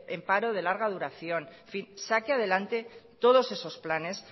en paro de larga duración en fin saque adelante todos esos planes